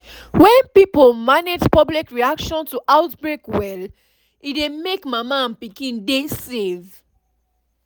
most health center wey you know dey teach public reaction to outbreak for free